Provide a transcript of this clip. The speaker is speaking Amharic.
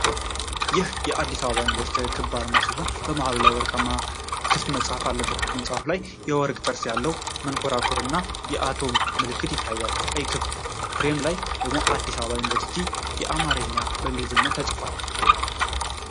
ይህ የአዲስ አበባ ዩኒቨርሲቲ ክብ አርማ ሲሆን መሃሉ ላይ ወርቃማ ክፍት መጽሐፍ አለበት። ከመጽሐፉ በላይ የወርቅ ጥርስ ያለው መንኰራኩር እና የአቶም ምልክት ይታያል። ቀይ ክብ ፍሬም ላይ ደግሞ "አዲስ አበባ ዩኒቨርሲቲ" በአማርኛና በእንግሊዝኛ ተጽፏል።